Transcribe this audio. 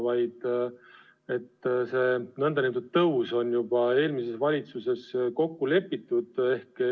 See nn tõus ehk endisele tasemele tagasiviimine on juba eelmises valitsuses kokku lepitud.